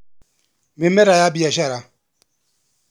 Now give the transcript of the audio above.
Mĩmera ya mbiacara.